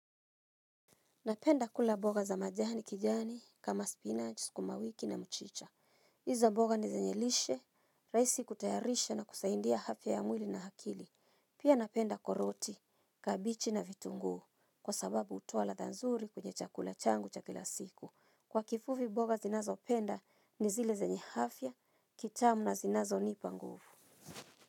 Napenda kula mboga za majani kijani, kama spinach, sukumawiki na mchicha. Hizo mboga ni zenye lishe, rahisi kutayarisha na kusaidia afya ya mwili na akili. Pia napenda koroti, kabiji na vitunguu, kwa sababu hutoa ladha nzuri kwenye chakula changu cha kila siku. Kwa kifupi, mboga zinazopenda ni zile zenye afya, kitamu na zinazo nipa nguvu.